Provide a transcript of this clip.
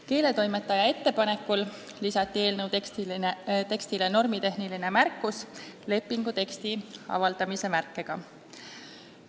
Keeletoimetaja ettepanekul lisati eelnõu tekstile normitehniline märkus lepinguteksti avaldamise märkega.